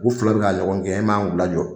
U fila bɛ k'a ɲɔgɔn gɛn e man kan k'u lajɔ.